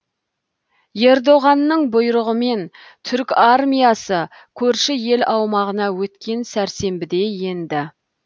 ердоғанның бұйрығымен түрік армиясы көрші ел аумағына өткен сәрсенбіде енді